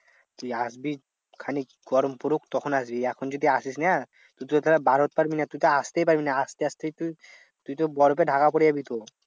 তুই আসবি খানিক গরম পড়ুক তখন আসবি এখন যদি আসিস না? তুই তো তাহলে বার হইতে পারবি না। তুই তো আসতেই পারবি না। আসতে আসতেই তুই তুই তো বরফে ঢাকা পরে যাবি তো।